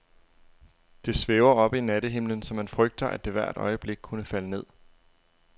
Det svæver oppe i nattehimlen, så man frygter, at det hvert øjeblik kunne falde ned.